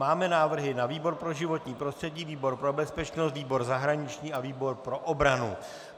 Máme návrhy na výbor pro životní prostředí, výbor pro bezpečnost, výbor zahraniční a výbor pro obranu.